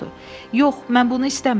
Yox, mən bunu istəmirəm.